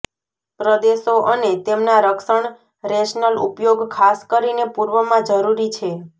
પ્રદેશો અને તેમના રક્ષણ રેશનલ ઉપયોગ ખાસ કરીને પૂર્વમાં જરૂરી છે